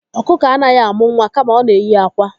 Ọkụkọ anaghị amụ nwa kama ọ na na-eyi akwa.